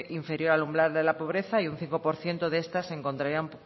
inferior al umbral de la pobreza y un cinco por ciento de estas